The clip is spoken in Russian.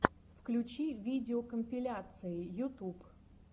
включи видеокомпиляции ютуб